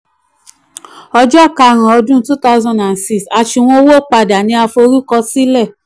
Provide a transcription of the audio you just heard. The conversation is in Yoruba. ọjọ́ karùn-ún two thousand and six asunwon owó padà ni a forúkọsílẹ̀.